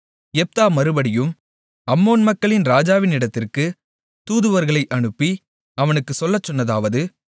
யெப்தா மறுபடியும் அம்மோன் மக்களின் ராஜாவினிடத்திற்கு தூதுவர்களை அனுப்பி அவனுக்குச் சொல்லச் சொன்னதாவது